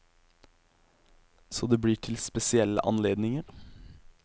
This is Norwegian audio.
Så det blir til spesielle anledninger.